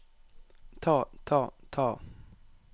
ta ta ta